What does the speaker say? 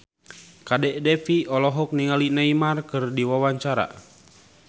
Kadek Devi olohok ningali Neymar keur diwawancara